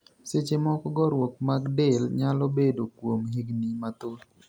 Seche moko gorruok mad del nyalo bedo kuom higni mathoth.